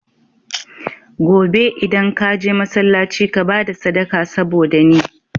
Gobe idan ka je masalaci ka bada sadaka saboda ni